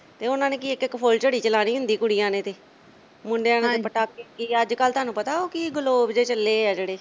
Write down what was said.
ਤੇ ਉਨ੍ਹਾਂ ਨੇ ਕੀ ਇੱਕ-ਇੱਕ ਫੁੱਲਝੜੀ ਚਲਾਣੀ ਹੁੰਦੀ ਕੁੜੀਆਂ ਨੇ ਤੇ, ਹਾਂਜੀ ਮੁੰਡਿਆਂ ਨੇ ਪਟਾਕੇ ਕੀ ਅੱਜਕਲ ਤੁਹਾਨੂੰ ਪਤਾ ਕੀ ਗਲੋਬ ਜੇ ਚੱਲੇ ਆ ਜਿਹੜੇ